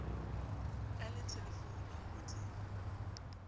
a le thelefounung ho di